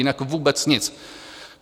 Jinak vůbec nic.